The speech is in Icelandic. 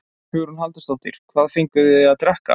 Hugrún Halldórsdóttir: Hvað fenguð þið að drekka?